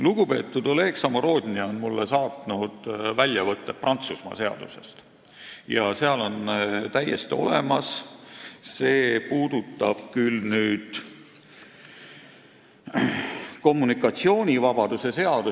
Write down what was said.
Lugupeetud Oleg Samorodni on mulle saatnud väljavõtted Prantsusmaa seadusest, kommunikatsioonivabaduse seadusest.